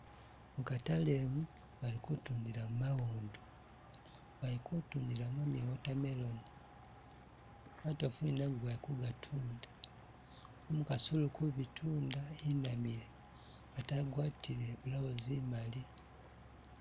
Mukatale umu balikundilamu mawondo, balikutundilamu ni water melon, matofu ni nago bali kugatunda, umukasi uli kubitunda inamile ate agwatile i'blouse imali